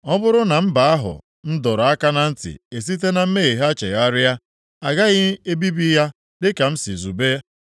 ọ bụrụ na mba ahụ m dọrọ aka na ntị esite na mmehie ha chegharịa, a gaghị ebibi ya dịka m si zube.